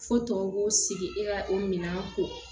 Fo tɔw b'o sigi e ka o minɛn kɔ